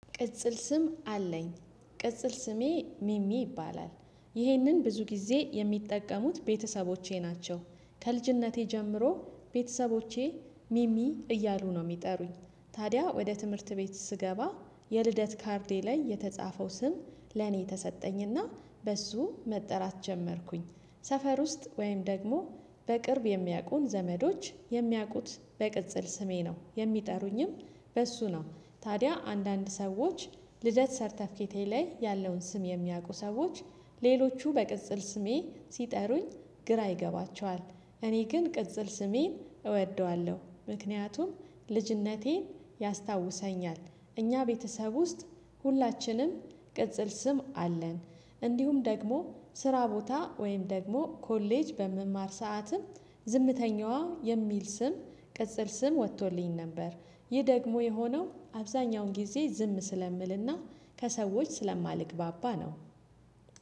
ቅጽል ስም አለኝ ቅጽል ስሜ ሚሚ ይባላል ይህንን ብዙ ጊዜ የሚጠቀሙት ቤተሰቦቼ ናቸው ከልጅነቴ ጀምሮ ቤተሰቦቼ ሚሚ እያሉ ነው የሚጠሩኝ። ታዲያ ወደ ትምህርት ቤት ስገባ የልደት ካርዴ ላይ የተጻፈው ስም ለኔ ተሰጠኝና በሱ መጠራት ጀመርኩኝ። ሰፈር ውስጥ ወይም ደግሞ በቅርብ የሚያውቁን ዘመዶች የሚያውቁት በቅጽል ስሜ ነው የሚጠሩኝም። በእሱ ነው ታዲያ አንዳንድ ሰዎች ልደት ሰርተፊኬቴ ላይ ያለውን ስም የሚያውቁ ሰዎች ሌሎቹ በቅጽል ስሜ ሲጠሩኝ ግራ ይገባቸዋል። እኔ ግን ቅጽል ስሜን እወደዋለሁ ምክንያቱም ልጅነቴን ያስታውሰኛል። እኛ ቤተሰብ ውስጥ ሁላችንም ቅጽል ስም አለን። እንዲሁም ደግሞ ስራ ቦታ ወይም ደግሞ ኮሌጅ በምማር ሰዓትም ዝምተኛዋ የሚል ስም ቅጽል ስም ወጥቶልኝ ነበር። ይህ ደግሞ የሆነው አብዛኛውን ጊዜ ዝም ስለምልና ከሰዎች ስለማልግባባ ነው።